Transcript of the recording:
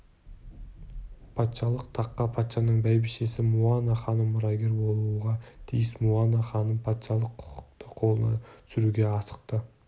патшалық таққа патшаның бәйбішесі муана ханым мұрагер болуға тиіс муана ханым патшалық құықты қолына түсіруге асықты